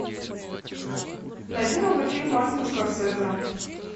найди новый фильм мартина скорсезе